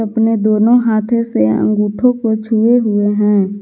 इसमें दोनों हाथों से अंगूठों को छुए हुए है।